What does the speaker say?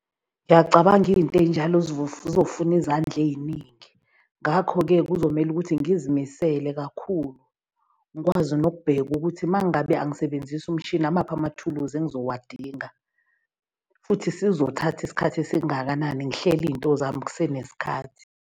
Ngiyacabanga izinto ey'njalo zofuna izandla ey'ningi. Ngakho-ke kuzomele ukuthi ngizimisele kakhulu. Ngikwazi nokubheka ukuthi uma ngabe angisebenzisi umshini amaphi amathuluzi engizowadinga, futhi sizothatha isikhathi esingakanani. Ngihlele izinto zami kusenesikhathi.